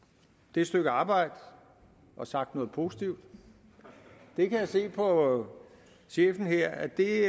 det stykke arbejde og sagt noget positivt det kan jeg se på chefen her at det